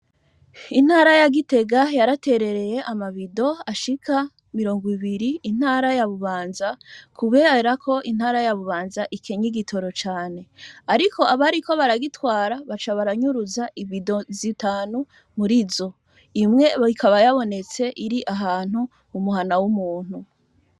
Intara yagitega yaraterereye amabido ashika mirongo ibiri intara ya bubanza kuberako intara ya bubanza ikenyi igitoro cane, ariko abariko baragitwara baca baranyuruza ibido zitanu muri zo imwe bikaba yabonetse iri ahantu umuhana w'umuntu noa.